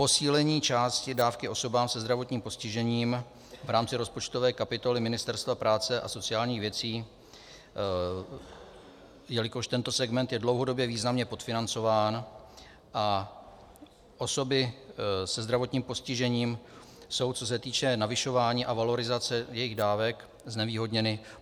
Posílení části dávky osobám se zdravotním postižením v rámci rozpočtové kapitoly Ministerstva práce a sociálních věcí, jelikož tento segment je dlouhodobě významně podfinancován a osoby se zdravotním postižením jsou, co se týče navyšování a valorizace jejich dávek, znevýhodněny.